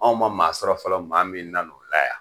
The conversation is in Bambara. Anw ma maa sɔrɔ fɔlɔ maa min nan' o la yan!